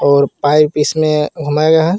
और पाइप इसमें .]